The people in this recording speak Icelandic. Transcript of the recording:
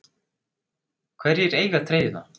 Hverjir eiga treyjuna?